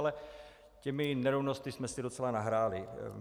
Ale těmi nerovnostmi jsme si docela nahráli.